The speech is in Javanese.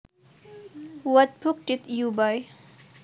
What book did you buy